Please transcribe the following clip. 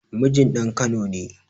Mijin ɗan kano ne